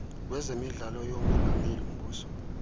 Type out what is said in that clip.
wezemidlalo yomongameli mbuso